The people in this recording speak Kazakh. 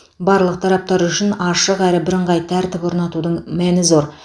барлық тараптар үшін ашық әрі бірыңғай тәртіп орнатудың мәні зор